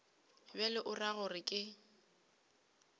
bjalo o ra gore ke